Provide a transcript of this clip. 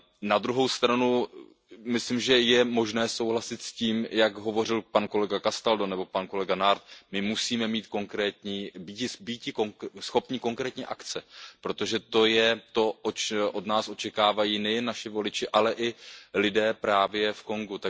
Na druhou stranu myslím, že je možné souhlasit s tím, jak hovořil pan kolega Castaldo nebo pan kolega Nart, my musíme být schopni konkrétní akce, protože to je to, co od nás očekávají nejen naši voliči, ale i lidé právě v Kongu.